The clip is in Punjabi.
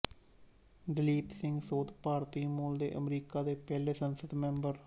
ਦਲੀਪ ਸਿੰਘ ਸੋਂਧ ਭਾਰਤੀ ਮੂਲ ਦੇ ਅਮਰੀਕਾ ਦੇ ਪਹਿਲੇ ਸੰਸਦ ਮੈਂਬਰ